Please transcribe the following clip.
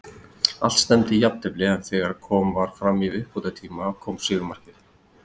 Allt stefndi í jafntefli, en þegar kom var fram í uppbótartíma kom sigurmarkið.